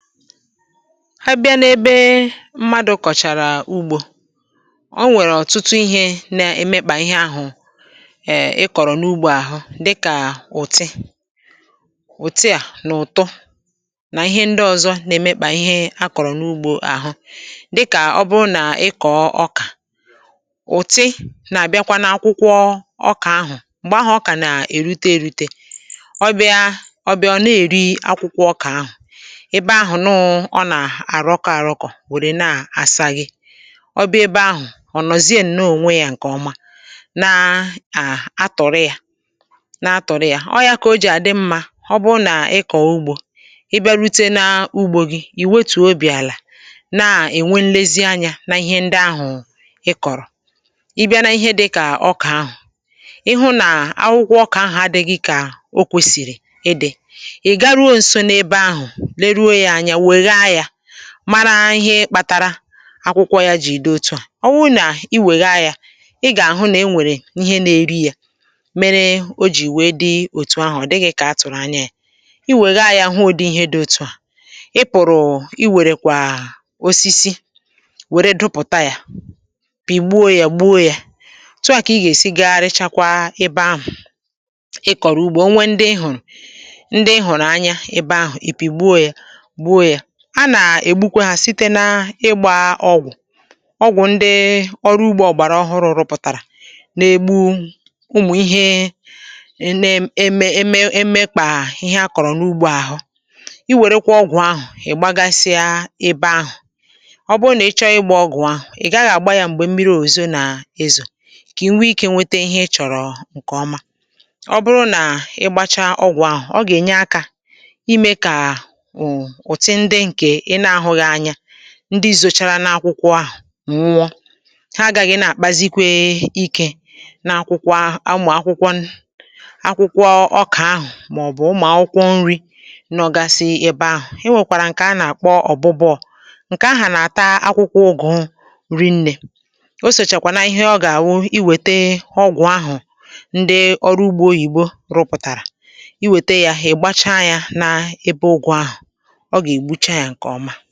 Ha bịa n’ebe mmadụ̀ kọ̀chàrà ugbo, o nwèrè ọ̀tụtụ ihė na-emekpà ihe ahụ̀ èè ị kọ̀rọ̀ n’ugbȯ àhụ dịkà ùti ùti à n’ụ̀tụ nà ihe ndị ọ̇zọ̇ na-emekpà ihe a kọ̀rọ̀ n’ugbȯ àhụ dịkà ọbụrụ nà ị kọ̀ọ ọkà ùti nà-àbịakwa n’akwụkwọ ọkà ahụ̀ m̀gbè ahụ̀ ọkà nà-èrute èrute ọ bịa ọ bịa ọ na-èri akwụkwọ ọkà ahụ̀, ebe ahụ nuu ona-aroko aroko were na-asaghe, ọ bịa ebe ahụ onozieno onwe ya ǹkè ọma na à na-atọ̀rị̀ ya na-atọ̀rị̀ ya, ọ yȧ kà o jì àdị mmȧ ọ bụ nà ị kọ̀ọ ugbȯ, ị bịa rute na-ugbȯ gị̀, ì wetụ̀ obì àlà na-ènwe nlezi anyȧ n’ihe ndị ahụ̀ ị kọ̀rọ̀, ị bịa na-ihe dịkà ọkà ahụ̀, ịhụ̇ nà akwụkwọ ọkà ahụ̀ adị̇ gị kà o kwèsìrì ịdị̇ ị̀ garuo ǹso na-ebe ahụ̀, leruo anya wegha ya mara ihe kpatara akwụkwọ ya jì dị otu à, ọ wụ nà i wèghaa ya ị gà-àhụ nà e nwèrè ihe na-eri ya mere o jì wèe dị òtù ahụ̀, odịghị̇ kà a tụ̀rụ̀ anya ya i wèghaa ya àhụ udị ihe dị otu à, ị pụ̀rụ̀ i wèrè kwà osisi wèrè dụpụ̀ta ya pìgbuo ya gbuo ya, otụà kà ị gà-èsi gagharịchakwa ebe ahụ̀ ị kọ̀rọ̀ ugbȯ o nwee ndị ihùrù ndị ihùrù anya ebe ahụ̀ ị pigbuo ya gbuo ya anà ègbukwe ha site n’ịgbȧ ọgwụ̀ ọgwụ̀ ndị ọrụ ugbȯ ọ̀gbàrà ọhụrụ̇ rụpụ̀tàrà n’egbu umù ihe na-eme eme emekpà ihe a kọ̀rọ̀ n’ugbȯ àhụ, i wèrekwȧ ọgwụ̀ ahụ̀ ị̀ gbagasịa ebe ahụ̀ ọ bụ nà ị chọọ ịgbȧ ọgwụ̀ ahụ̀ ị̀ gaghị̇ àgba yȧ m̀gbè mmiri òzo nà-ezò kà i nwee ikė nwete ihe ị chọ̀rọ̀ ǹkè ọma ọ bụrụ nà ị gbacha ọgwụ̀ ahụ̀ ọ gà-ènye akȧ ime kà um utị ndị nke ịna-ahụ anya ndi zòchara n’akwụkwọ ahụ̀ nwụọ, ha agàghị̀ na-àkpazikwe ikė n’akwụkwọ ahụ̀ akwụkwọ ọkà ahụ̀ màọbụ̀ ụmụ̀ akwụkwọ nri̇ nọ̀ gasi ebe ahụ̀ e, nwèkwàrà ǹkè a nà-àkpọ ọ̀bụbụọ̇ ǹkè ahụ̀ nà-àta akwụkwọ ụgụ̇ rinnė o sòchàkwà na ihe ọ gà-àwụ i wète ọgwụ̀ ahụ̀ ndị ọrụugbȯ oyìbo rụpụ̀tàrà i wète yȧ hà ị̀gbacha yȧ na-ebe ụgwọ ahụ̀, oga-egbucha ya nke ọma.